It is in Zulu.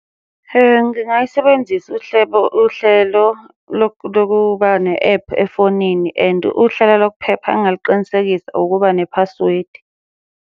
Ngingayisebenzisa uhlebo uhlelo lokuba ne-ephu efonini and uhlelo lokuphepha engingaluqinisekisa ukuba ne-password.